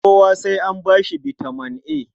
Kowa sai an ba shi bitaman A.